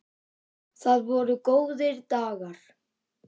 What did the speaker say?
Það voru góðir dagar.